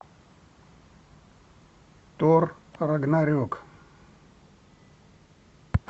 тор рагнарек